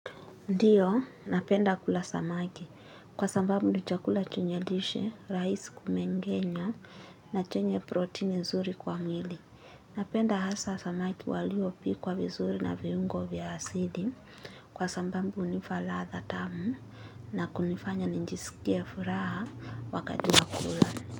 Ndio, napenda kula samaki, kwa sambambu ni chakula chenyelishe, rais kumengenya, na chenye protein nzuri kwa mili. Napenda hasa samaki waliopi kwa vizuri na viungo vya asidi, kwa sambambu ni falatha tamu, na kunifanya ninjisikia furaha wakati wakula.